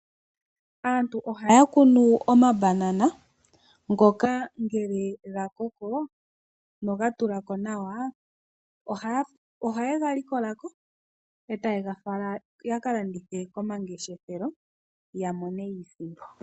Aantu ohaya kunu omabanana ngoka ngele ga koko noga tula ko nawa, ohaye ga likola ko etaye ga fala ya ka landithe komangeshefelo ya mone iisimpo.